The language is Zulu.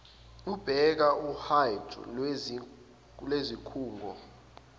ubheka uhide lwezikhungo